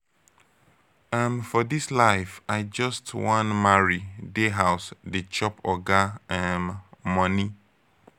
um for dis life i just wan marry dey house dey chop oga um moni.